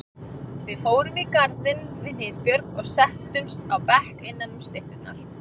Við fórum í garðinn við Hnitbjörg og settumst á bekk innanum stytturnar.